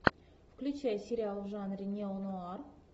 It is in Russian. включай сериал в жанре неонуар